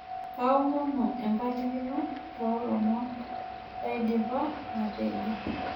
Kaomonu empalikino toolomon laidipa atejo.